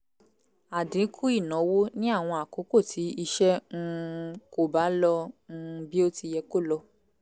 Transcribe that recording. àdínkù ìnáwó ní àwọn àkókò tí iṣẹ́ um kò bá lọ um bí ó ti yẹ kó lọ